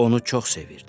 Onu çox sevirdi.